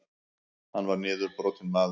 Hann var niðurbrotinn maður.